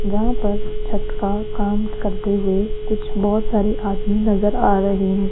जहां पर छत का काम करते हुए कुछ बहुत सारे आदमी नजर आ रहे हैं।